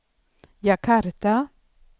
Jakarta